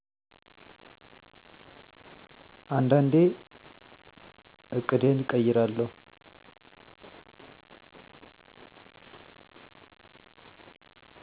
አንዳንዴ ዕቅዴን እቀይራለሁ